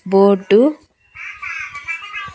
boat --